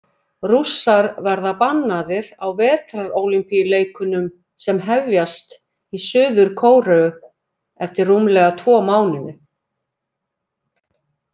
Rússar verða bannaðir á Vetrarólympíuleikunum sem hefjast í Suður-Kóreu eftir rúmlega tvo mánuði.